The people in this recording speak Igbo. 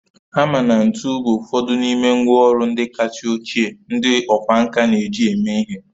Hama na ntu bụ ụfọdụ n'ime ngwá ọrụ ndị kasị ochie ndị ọkwá nkà na-eji eme ihe